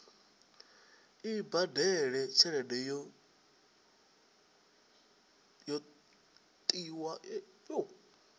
i badele tshelede yo tiwaho